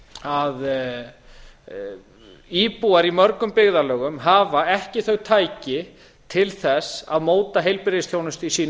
að íbúar í mörgum byggðarlögum hafa ekki þau tæki til þess að móta heilbrigðisþjónustu í sínu